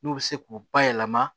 N'u bɛ se k'u bayɛlɛma